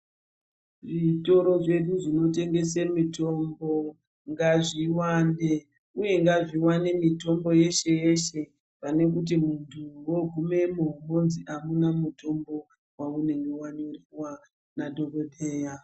Zvitoro zvedu zvino tengese mitombo ngazvi wande uye ngazvi wane mitombo yeshe yeshe pane kuti muntu wogumemo wonzi amuna mutombo waunenge wanyorerwa na dhokodheya.